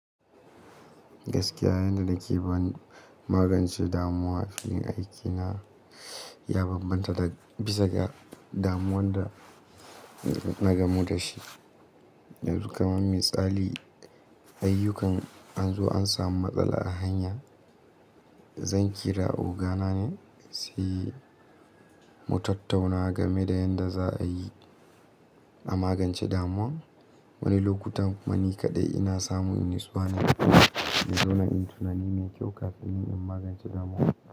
Gaskiya, yanda nake bani magance damuwa, filin aikina ya bambanta da bisa ga damuwar da na gamu da shi. Yanzu kamsn misali, ayyukan an zo an samu matsala a hanya. Zan kira ogana ne, sai mu tattauna game da yadda za a yi a magance damuwar. Wani lokutan kuma ni kaɗai ina samun natsuwana na zauna inyu tunani mai kyau kafin in magance damuwar.